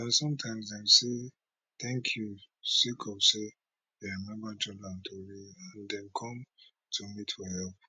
and sometimes dem dey say thank you sake of say dem remember jordan tori and dem come to me for help